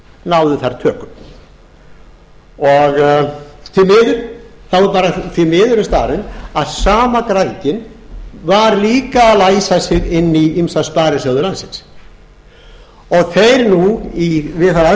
náði þar tökum því miður er staðreynd að sama græðgin var líka að læsa sig inn í ýmsa sparisjóði landsins og þeir nú við